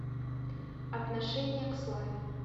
отношение к славе